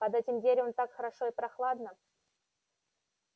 под этим деревом так хорошо и прохладно